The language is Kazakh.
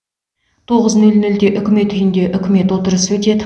тоғыз нөл нөлде үкімет үйінде үкімет отырысы өтеді